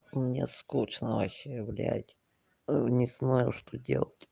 мне скучно вообще блядь не знаю что делать